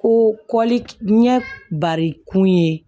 Ko kɔli ɲɛ bari kun ye